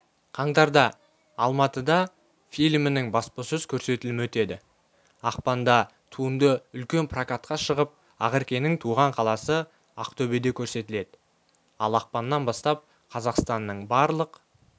қаңтарда алматыда фильмнің баспасөз көрсетілімі өтеді ақпанда туынды үлкен прокатқа шығып ақеркенің туған қаласы ақтөбеде көрсетіледі ал ақпаннан бастап қазақстанның барлық